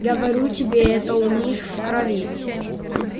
говорю тебе это у них в крови